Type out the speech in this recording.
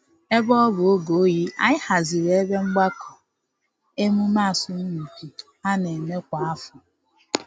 Ebe ọ bụ oge oyi, anyị haziri ebe mgbakọ emume asọmpi a na-eme kwa afọ